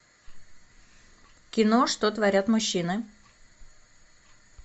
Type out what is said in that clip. кино что творят мужчины